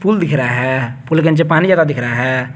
Pool दिख रहा है पूल के नीचे पानी ज्यादा दिख रहा है।